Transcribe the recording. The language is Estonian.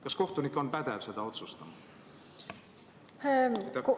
Kas kohtunik on pädev selle üle otsustama?